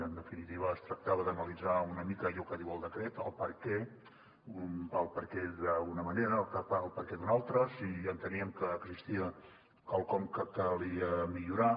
en definitiva es tractava d’analitzar una mica allò que diu el decret el perquè el perquè d’una manera o el perquè d’una altra si enteníem que existia quelcom que calia millorar